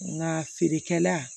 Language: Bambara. Nka feerekɛla